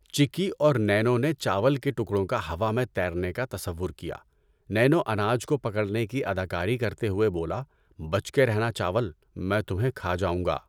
چکی اور نینو نے چاول کے ٹکڑوں کا ہوا میں تیرنے کا تصور کیا۔ نینو اناج کو پکڑنے کی اداکاری کرتے ہوئے بولا، بچ کے رہنا چاول، میں تمھیں کھا جاؤں گا!